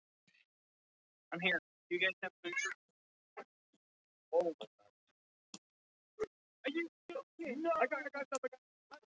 Tali um hvað örlög þeirra séu margslungin.